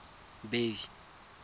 bay